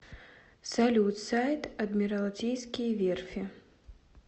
салют сайт адмиралтейские верфи